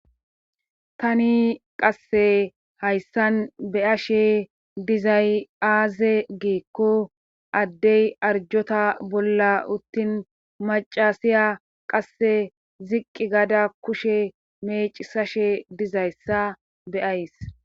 tani qasse hayssan be7ashe dizay aazee giikko addey arjjota bolla uttin maccasiya qasse ziqi gada kushe meecissashe dizayssa be7ays.